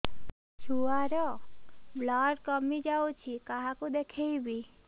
ଛୁଆ ର ବ୍ଲଡ଼ କମି ଯାଉଛି କାହାକୁ ଦେଖେଇବି